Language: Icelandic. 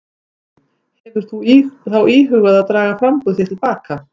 Lillý: Hefur þú þá íhugað að draga framboð þitt til baka?